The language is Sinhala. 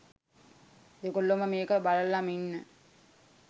දෙගොල්ලම මේක බලලම ඉන්න